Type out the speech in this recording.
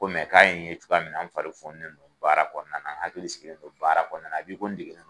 Ko mɛ k'a ye n ye cogoya min na n fari foni ne do baara kɔnɔna n hakili sigilen don baara kɔnɔnan epi ko n dege n don